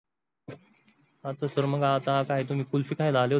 sir आता काय तुम्ही कुल्फी खायला आले होते.